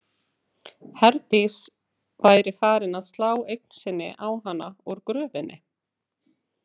Herdís væri farin að slá eign sinni á hana úr gröfinni.